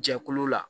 Jɛkulu la